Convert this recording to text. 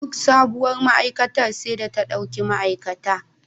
Duk sabuwar ma'aikata sai ta ɗauki ma'aikata.